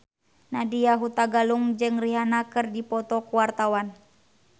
Nadya Hutagalung jeung Rihanna keur dipoto ku wartawan